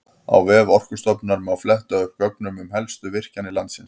Á vef Orkustofnunar má fletta upp gögnum um helstu virkjanir landsins.